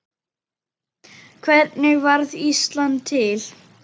Hvernig varð Ísland til?